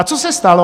A co se stalo?